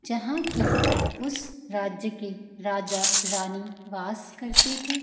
जहाँ की उस राज्‍य की राजा-रानी वास करते थे।